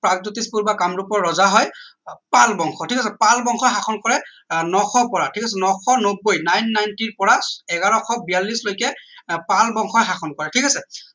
প্ৰাগজ্যোতিষ পুৰ বা কামৰূপৰ ৰজা হয় পাল বংশ ঠিক আছে পাল বংশই শাসন কৰে আহ নশ পৰা নশ নব্বৈ nine ninety পৰা এঘাৰশ বিয়াল্লিশ লৈকে পাল বংশই শাসন কৰে ঠিক আছে